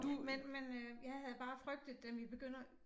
Men men øh jeg havde bare frygtet den ville begynde at